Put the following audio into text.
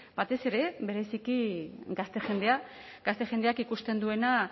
batez ere bereziki gazte jendea gazte jendeak ikusten duena